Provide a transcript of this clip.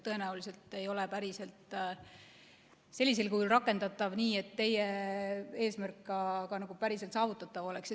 Tõenäoliselt ei ole see ka sellisel kujul rakendatav, et teie eesmärk ka päriselt saavutatav oleks.